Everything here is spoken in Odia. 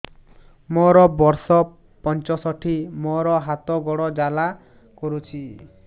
ମୋର ବର୍ଷ ପଞ୍ଚଷଠି ମୋର ହାତ ଗୋଡ଼ ଜାଲା କରୁଛି